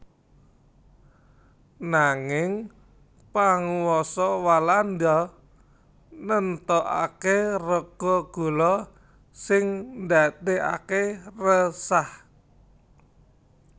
Nanging panguwasa Walanda nemtokaké rega gula sing ndadèkaké resah